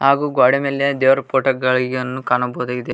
ಹಾಗೂ ಗೋಡೆ ಮೇಲೆ ದೇವರ ಫೋಟೋ ಗಳಿಗೆನ್ನು ಕಾಣಬಹುದಾಗಿದೆ.